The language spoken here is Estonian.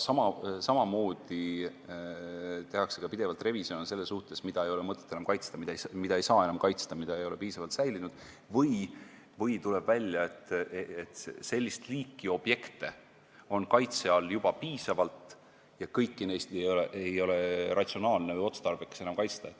Samamoodi tehakse pidevalt revisjone selles suhtes, mida ei ole enam mõtet kaitsta, sest ei saa enam kaitsta, kuna objekt ei ole piisavalt säilinud või tuleb välja, et sellist liiki objekte on kaitse all juba piisavalt ja kõiki neid ei ole enam ratsionaalne või otstarbekas kaitsta.